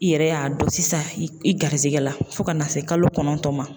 I yɛrɛ y'a dɔn sisan i garizigɛ la fo ka na se kalo kɔnɔntɔn ma